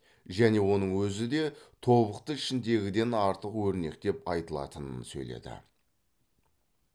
және оның өзі де тобықты ішіндегіден артық өрнекпен айтылатынын сөйледі